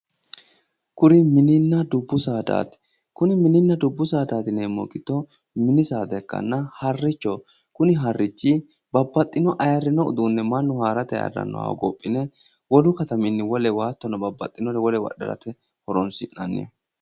Kuni mininna dubbu saadati. kuni mini saadati yineemmohu giddo harichoho isino mittore ayirrinore hogophine woluwinni wolewa adhe harate horonsi'nanniho.